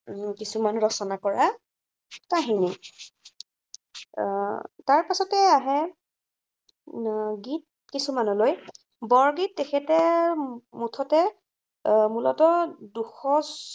উম কিছুমান ৰচনা কৰা কাহিনী। আহ তাৰপিছতে আহে উম গীত কিছুমানলৈ। বৰগীত তেখেতে মুঠতে এৰ মূলতঃ দুশ